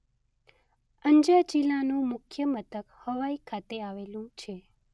અંજા જિલ્લાનું મુખ્ય મથક હવાઇ ખાતે આવેલું છે.